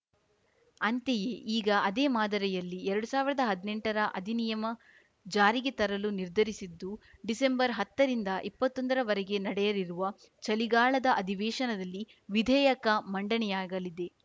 ಅಂತೆಯೇ ಈಗ ಅದೇ ಮಾದರಿಯಲ್ಲಿ ಎರಡು ಸಾವಿರದ ಹದ್ನೆಂಟರ ಅಧಿನಿಯಮ ಜಾರಿಗೆ ತರಲು ನಿರ್ಧರಿಸಿದ್ದು ಡಿಸೆಂಬರ್ಹತ್ತರಿಂದ ಇಪ್ಪತ್ತೊಂದರವರೆಗೆ ನಡೆಯಲಿರುವ ಚಳಿಗಾಲದ ಅಧಿವೇಶನದಲ್ಲಿ ವಿಧೇಯಕ ಮಂಡನೆಯಾಗಲಿದೆ